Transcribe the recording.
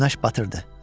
Günəş batırdı.